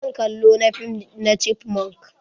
Zan kallo na fim na chipmonk.